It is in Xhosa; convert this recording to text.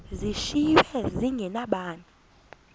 zishiywe zinge nabani